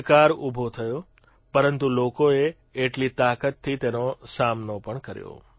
પડકાર ઉભો થયો પરંતુ લોકોએ એટલી તાકાતથી તેનો સામનો પણ કર્યો